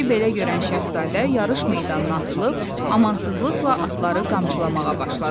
İşi belə görən şahzadə yarış meydanına atılıb amansızlıqla atları qamçılamağa başladı.